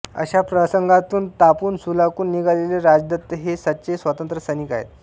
अशा प्रसंगांतून तापून सुलाखून निघालेले राजदत्त हे सच्चे स्वतंत्र सैनिक आहेत